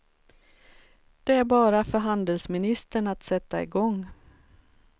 Det är bara för handelsministern att sätta igång.